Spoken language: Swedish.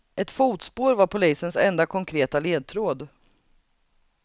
Ett fotspår var polisens enda konkreta ledtråd.